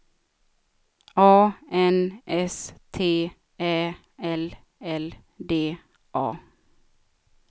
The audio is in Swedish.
A N S T Ä L L D A